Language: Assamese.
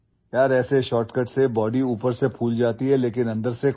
এনে শ্বৰ্টকাটত শৰীৰটো ফুলি উঠে যদিও ভিতৰি ভিতৰি ফোপোলা আৰু ৰুগীয়া হৈ থাকে